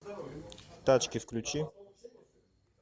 тачки включи